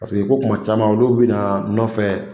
Paseke ko tuma caman olu bɛ na nɔfɛ.